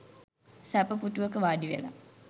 සැප පුටුවක වාඩිවෙලා